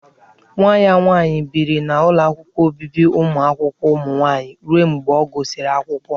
Nwa ya nwaanyị biri n'ụlọ obibi ụmụ akwụkwọ nwaanyị ruo mgbe ọ gụsịrị akwụkwọ.